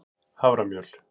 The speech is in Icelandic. haframjöl